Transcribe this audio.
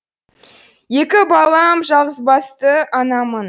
екі балам жалғызбасты анамын